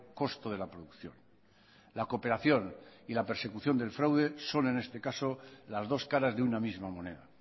costo de la producción la cooperación y la persecución del fraude son en este caso las dos caras de una misma moneda